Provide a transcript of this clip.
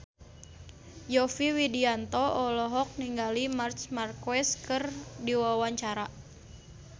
Yovie Widianto olohok ningali Marc Marquez keur diwawancara